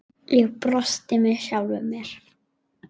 Ég brosti með sjálfri mér.